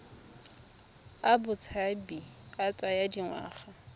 a botshabi a tsaya dingwaga